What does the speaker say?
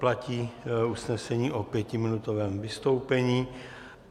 Platí usnesení o pětiminutovém vystoupení.